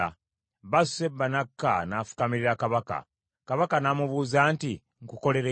Basuseba n’akka n’afukamirira kabaka. Kabaka n’amubuuza nti, “Nkukolere ki?”